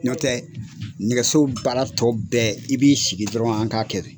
N'ɔ tɛ nɛgɛso baara tɔ bɛɛ i b'i sigi dɔrɔn an k'a kɛ de.